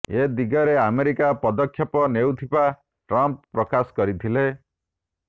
ଏ ଦିଗରେ ଆମେରିକା ପଦକ୍ଷେପ ନେଉଥିବା ଟ୍ରମ୍ପ ପ୍ରକାଶ କରିଥିଲେ